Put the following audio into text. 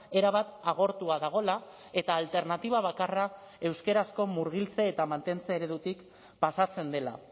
erabat agortua dagoela eta alternatiba bakarra euskarazko murgiltze eta mantentze eredutik pasatzen dela